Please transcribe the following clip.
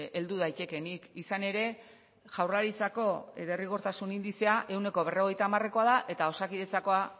heldu daitekeenik izan ere jaurlaritzako derrigortasun indizea ehuneko berrogeita hamarekoa da eta osakidetzakoa